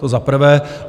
To za prvé.